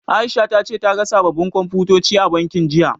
Aisha ta ce ta ga sababbin Komfutoci a bankin, jiya.